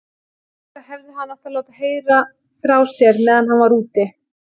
Auðvitað hefði hann átt að láta heyra frá sér meðan hann var úti.